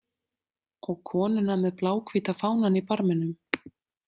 Og konuna með bláhvíta fánann í barminum.